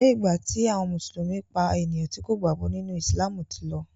aiyé igba ti àwọn mùsùlùmí pá ènìyàn tí kò gbàgbó nínú! Ìsìlámù tí ló.